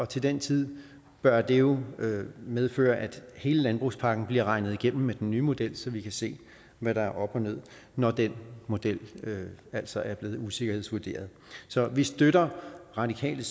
til den tid bør det jo medføre at hele landbrugspakken bliver regnet igennem med den nye model så vi kan se hvad der er op og ned når den model altså er blevet usikkerhedsvurderet så vi støtter radikale